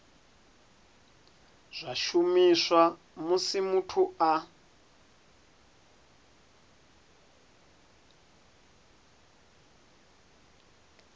zwa shumiswa musi muthu a